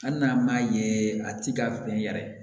Hali n'an m'a ye a ti ka bɛn yɛrɛ